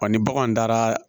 Wa ni baganw taara